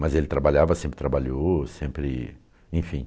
Mas ele trabalhava, sempre trabalhou, sempre, enfim.